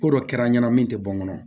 Ko dɔ kɛra n ɲɛnɛ min tɛ bɔ n kɔnɔ